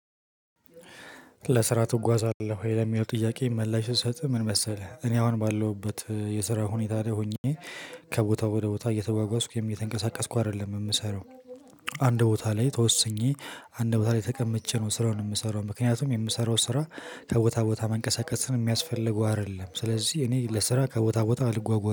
ለስራ ትጓዛለህ ወይ? ለሚለው ጥያቄ መልስ ስሰጥ ምን መሰለህ እኔ አሁን ባለሁበት የስራ ሁኔታ ላይ ሆኜ ከቦታ ወደ ቦታ እየተጓጓስኩ የተንቀሳቀስኩ አይደለም ምሰራው። አንድ ቦታ ላይ ተወስኜ አንድ ቦታ ላይ ተቀምጬ ነው ስራውን ምሰራው ምክንያቱም የምሰራው ስራ ከቦታ ቦታ መንቀሳቀስን ሚያስፈልገው አደለም። ስለዚህ እኔ ለስራ ከቦታ ቦታ አልጓጓም